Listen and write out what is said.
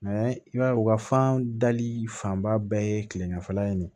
i b'a ye u ka fan dali fanba bɛɛ ye kilemala ye